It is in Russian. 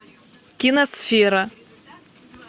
киносфера